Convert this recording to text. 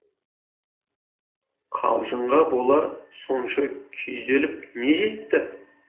қалжыңға бола сонша күйзеліп не жетті